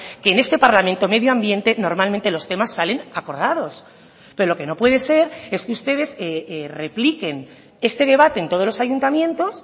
que en este parlamento medio ambiente normalmente los temas salen acordados pero lo que no puede ser es que ustedes repliquen este debate en todos los ayuntamientos